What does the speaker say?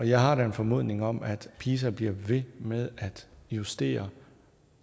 jeg har da en formodning om at pisa bliver ved med at justere